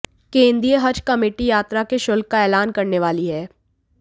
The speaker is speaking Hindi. केंद्रीय हज कमेटी यात्रा के शुल्क का एलान करने वाली है